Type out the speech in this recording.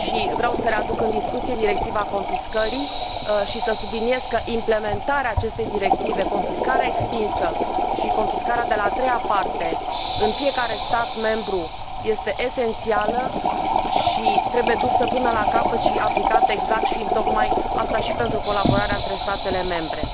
Vreau să readuc în discuție Directiva confiscării și să subliniez că implementarea acestei directive, confiscarea extinsă și confiscarea de la a treia parte, în fiecare stat membru, este esențială și trebuie dusă până la capăt și aplicată exact și întocmai aceasta și pentru colaborarea între statele membre.